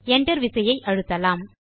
Enter விசையை அழுத்தலாம்